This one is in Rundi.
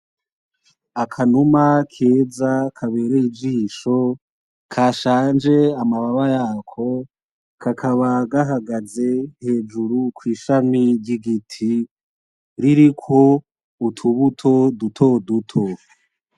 Akanuma keza kabereye ijisho kashanje amababa yako kakaba gahagaze hejuru kwishami ryigiti ririko utubuto dutoduto.